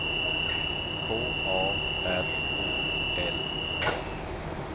K A R O L A